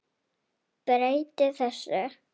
Breyti þessu.